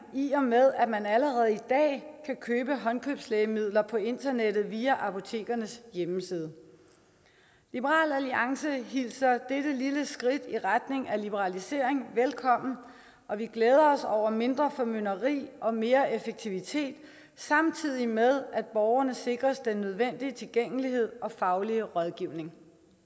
i og med at man allerede i dag kan købe håndkøbslægemidler på internettet via apotekernes hjemmeside liberal alliance hilser dette lille skridt i retning af liberalisering velkommen og vi glæder os over mindre formynderi og mere effektivitet samtidig med at borgerne sikres den nødvendige tilgængelighed og faglige rådgivning